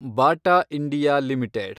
Bata India limited